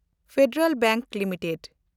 federal bank limited